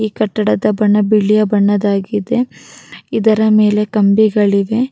ಈ ಕಟ್ಟಡದ ಬಣ್ಣ ಬಿಳಿಯ ಬಣ್ಣದಾಗಿದೆ ಇದರ ಮೇಲೆ ಕಂಬಿಗಳಿವೆ --